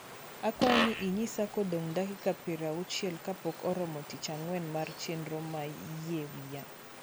akwayo ni inyisa kodong dakika piero auchiel kapok oromo tich angwen mar chernro mar yie wiya